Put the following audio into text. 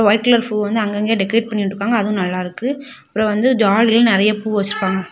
White colour பூ அங்கங்க decorate பண்ணி விட்டுருக்காங்க அது நல்லா இருக்குஅப்ரோ வந்து டால்லையு நெறியா பூ வெச்சிருக்காங்க.